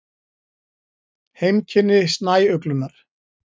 Heimkynni snæuglunnar.